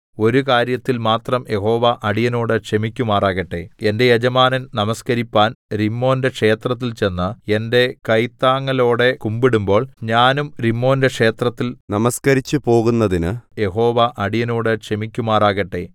ഒരു കാര്യത്തിൽ മാത്രം യഹോവ അടിയനോട് ക്ഷമിക്കുമാറാകട്ടെ എന്റെ യജമാനൻ നമസ്കരിപ്പാൻ രിമ്മോന്റെ ക്ഷേത്രത്തിൽ ചെന്ന് എന്റെ കൈത്താങ്ങലോടെ കുമ്പിടുമ്പോൾ ഞാനും രിമ്മോന്റെ ക്ഷേത്രത്തിൽ നമസ്കരിച്ചുപോകുന്നതിനു യഹോവ അടിയനോട് ക്ഷമിക്കുമാറാകട്ടെ